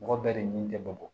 Mɔgɔ bɛɛ de ɲin tɛ bamakɔ